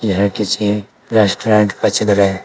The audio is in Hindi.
यह किसी रेस्टोरेंट का चित्र है।